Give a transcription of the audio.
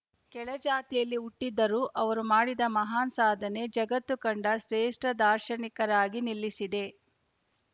ಕೆಳಜಾತಿಯಲ್ಲಿ ಹುಟ್ಟಿದ್ದರೂ ಅವರು ಮಾಡಿದ ಮಹಾನ್‌ ಸಾಧನೆ ಜಗತ್ತು ಕಂಡ ಶ್ರೇಷ್ಠ ದಾರ್ಶನಿಕರಾಗಿ ನಿಲ್ಲಿಸಿದೆ